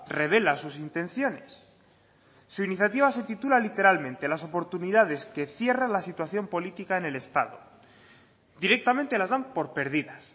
revela sus intenciones su iniciativa se titula literalmente las oportunidades que cierra la situación política en el estado directamente las dan por pérdidas